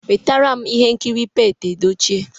Wetaram ihe nkiri Pete Edochie!